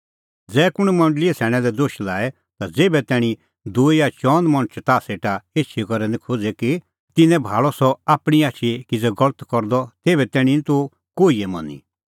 ज़ै कुंण मंडल़ीए सैणैं लै दोश लाए ता ज़ेभै तैणीं दूई या चअन मणछ ताह सेटा एछी करै निं खोज़े कि तिन्नैं भाल़अ सह आपणीं आछी किज़ै गलत करदअ तेभै तैणीं निं तूह कोहिए मनी